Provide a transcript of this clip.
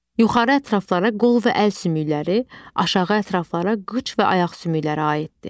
Yuxarı ətraflara qol və əl sümükləri, aşağı ətraflara qıç və ayaq sümükləri aiddir.